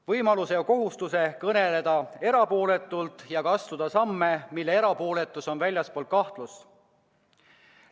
Võimaluse ja kohustuse kõneleda erapooletult ja ka astuda samme, mille erapooletus on väljaspool kahtlust.